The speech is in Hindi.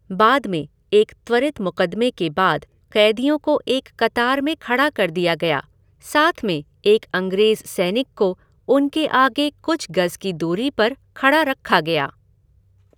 बाद में, एक त्वरित मुक़दमे के बाद क़ैदियों को एक कतार में खड़ा कर दिया गया, साथ में एक अंग्रेज़ सैनिक को उनके आगे कुछ गज़ की दूरी पर खड़ा रखा गया।